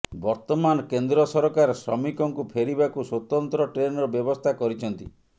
ବର୍ତ୍ତମାନ କେନ୍ଦ୍ର ସରକାର ଶ୍ରମିକଙ୍କୁ ଫେରିବାକୁ ସ୍ବତନ୍ତ୍ର ଟ୍ରେନର ବ୍ୟବସ୍ଥା କରିଛନ୍ତି